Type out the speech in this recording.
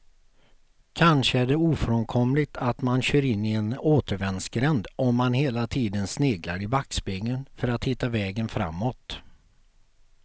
Kanske är det ofrånkomligt att man kör in i en återvändsgränd om man hela tiden sneglar i backspegeln för att hitta vägen framåt.